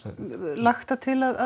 lagt til að